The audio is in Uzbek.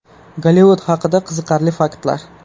Gollivud haqida qiziqarli faktlar.